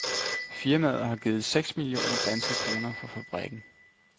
Firmaet har givet seks millioner danske kroner for fabrikken.